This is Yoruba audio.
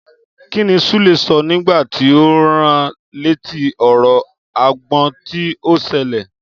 Kíní Súlè sọ nígbàtí o rán létí òróró àgbọn tí ọ ṣèlérí?